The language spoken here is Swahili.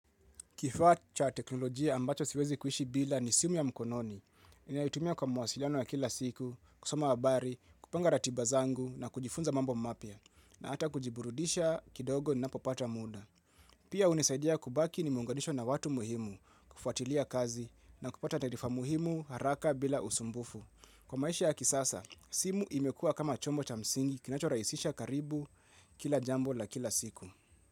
Kifaa cha teknolojia ambacho siwezi kuishi bila ni simu ya mkononi. Ninaitumia kwa mawasiliano ya kila siku, kusoma habari, kupanga ratiba zangu na kujifunza mambo mapya. Na hata kujiburudisha kidogo ninapopata muda. Pia hunisaidia kubaki nimeunganishwa na watu muhimu kufuatilia kazi na kupata taarifa muhimu haraka bila usumbufu. Kwa maisha ya kisasa, simu imekua kama chombo cha msingi kinachorahisisha karibu kila jambo la kila siku.